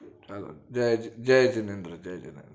ચાલો જય જય જીનેદ્ર જય જીનેદ્ર